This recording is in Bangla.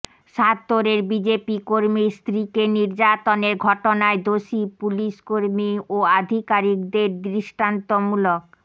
সাত্তোরের বিজেপি কর্মীর স্ত্রীকে নির্যাতনের ঘটনায় দোষী পুলিশ কর্মী ও আধিকারিকেদের দৃষ্টান্তমূলক